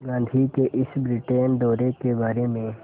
गांधी के इस ब्रिटेन दौरे के बारे में